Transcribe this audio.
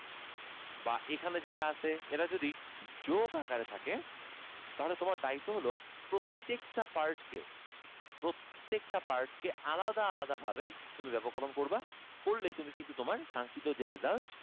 বা এখানে যেটা আছে এরা যদি যোগ আকারে থাকে তাহলে তোমার দায়িত্ব হলো প্রত্যেকটা part কে প্রত্যেকটা part কে আলাদা আলাদা ভাবে তুমি ব্যাপককরন করবা করলেই তুমি কিন্তু তোমার কাঙ্ক্ষিত যেই result